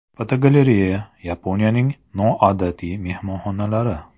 Fotogalereya: Yaponiyaning noodatiy mehmonxonalari.